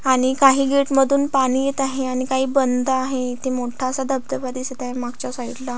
आणि काही गेट मधुन पाणी येत आहे आणि काही बंद आहे इथे मोठा असा ढबढबा दिसत आहे मागच्या साइड ला.